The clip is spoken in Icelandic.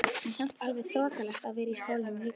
En samt alveg þokkalegt að vera í skólanum líka?